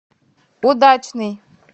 удачный